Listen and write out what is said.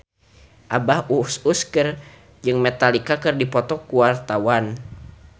Abah Us Us jeung Metallica keur dipoto ku wartawan